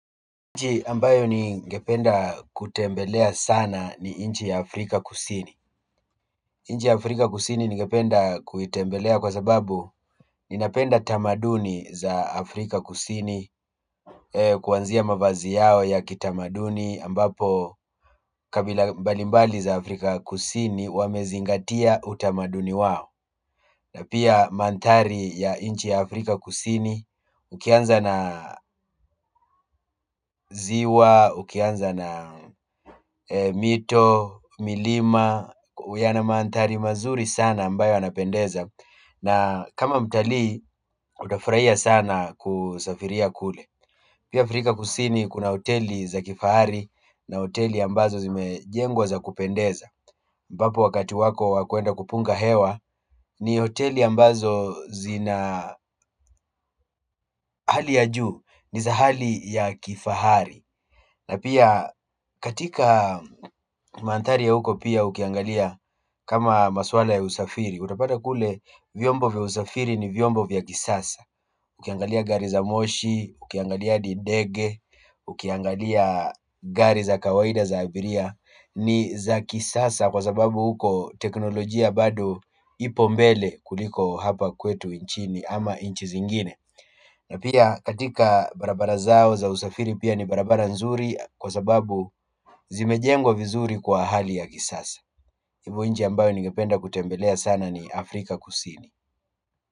Inchi ambayo ningependa kutembelea sana ni inchi ya Afrika kusini inchi ya Afrika kusini ningependa kuitembelea kwa sababu ninapenda tamaduni za Afrika kusini kuanzia mavazi yao ya kitamaduni ambapo kabila mbalimbali za Afrika kusini wamezingatia utamaduni wao na pia manthari ya inchi ya Afrika kusini ukianza na ziwa ukianza na mito milima yana maandari mazuri sana ambayo yanapendeza na kama mtalii, itafurahia sana kusafiria kule. Pia Afrika kusini kuna hoteli za kifahari na hoteli ambazo zimejengwa za kupendeza ambapo wakati wako wa kuenda kupunga hewa ni hoteli ambazo zina hali ya juu, ni za hali ya kifahari na pia katika mantari ya huko pia ukiangalia kama maswala ya usafiri utapata kule vyombo vya usafiri ni vyombo vya kisasa ukiangalia gari za moshi, ukiangalia adidege, ukiangalia gari za kawaida za abiria ni za kisasa kwa sababu huko teknolojia bado ipo mbele kuliko hapa kwetu inchini ama inchi zingine na pia katika barabara zao za usafiri pia ni barabara nzuri kwa sababu zimejengwa vizuri kwa hali ya kisasa kwa hivo nchi ambayo ningependa kutembelea sana ni Afrika kusini.